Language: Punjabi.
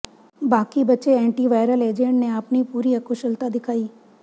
ਬਾਕੀ ਬਚੇ ਐਂਟੀਵਾਇਰਲ ਏਜੰਟ ਨੇ ਆਪਣੀ ਪੂਰੀ ਅਕੁਸ਼ਲਤਾ ਦਿਖਾਈ